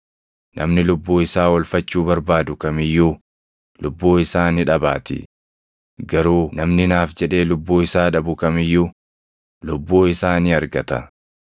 Namni lubbuu isaa oolfachuu barbaadu kam iyyuu lubbuu isaa ni dhabaatii; garuu namni naaf jedhee lubbuu isaa dhabu kam iyyuu lubbuu isaa ni argata.